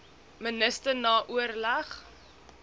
minister na oorleg